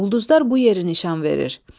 Ulduzlar bu yeri nişan verir.